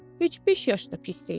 Heç beş yaş da pis deyil.